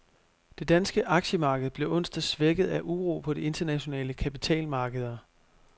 Det danske aktiemarked blev onsdag svækket af uro på de internationale kapitalmarkeder.